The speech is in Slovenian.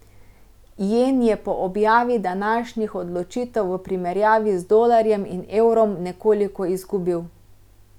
Jen je po objavi današnjih odločitev v primerjavi z dolarjem in evrom nekoliko izgubil.